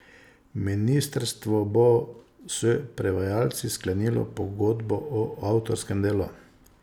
Ministrstvo bo s prevajalci sklenilo pogodbo o avtorskem delu.